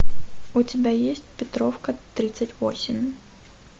у тебя есть петровка тридцать восемь